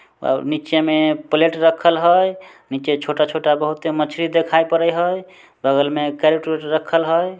--और नीचे में प्लेट रखल हई नीचे छोटा-छोटा बहुते मछली दिखाई पड़े हई बगल में कैरेट वेरेट रखल हई।